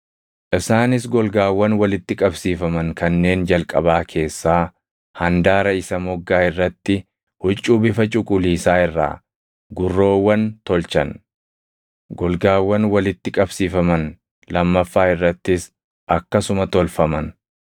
Isaanis golgaawwan walitti qabsiifaman kanneen jalqabaa keessaa handaara isa moggaa irratti huccuu bifa cuquliisaa irraa gurroowwan tolchan; golgaawwan walitti qabsiifaman lammaffaa irrattis akkasuma tolfaman.